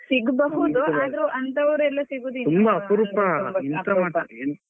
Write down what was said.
ಸಿಗ್ಬಹುದು ಆದರು ಅಂಥವರು ಎಲ್ಲ .